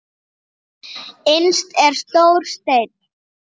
Innst er stór steinn.